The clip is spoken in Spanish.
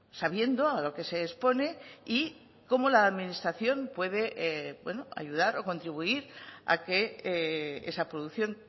sabiendo a lo que se expone y cómo la administración puede ayudar o contribuir a que esa producción